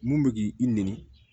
Mun bɛ k'i i nɛni